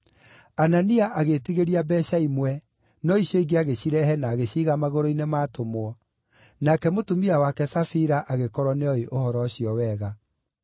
Anania agĩĩtigĩria mbeeca imwe, no icio ingĩ agĩcirehe na agĩciiga magũrũ-inĩ ma atũmwo, nake mũtumia wake Safira agĩkorwo nĩooĩ ũhoro ũcio wega.